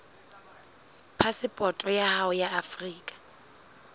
phasepoto ya hao ya afrika